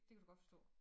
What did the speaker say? Det kan du godt forstå